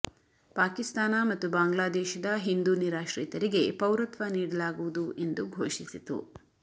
ಪಾಕಿಸ್ತಾನ ಮತ್ತು ಬಾಂಗ್ಲಾದೇಶದ ಹಿಂದೂ ನಿರಾಶ್ರಿತರಿಗೆ ಪೌರತ್ವ ನೀಡಲಾಗುವುದು ಎಂದು ಘೋಷಿಸಿತು